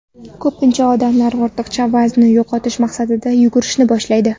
Ko‘pincha odamlar ortiqcha vaznni yo‘qotish maqsadida yugurishni boshlaydi.